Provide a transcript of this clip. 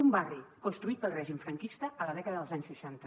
un barri construït pel règim franquista a la dècada dels anys seixanta